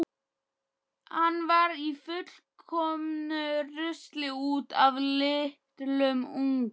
Hann var í fullkomnu rusli út af litlum unga.